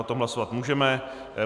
O tom hlasovat můžeme.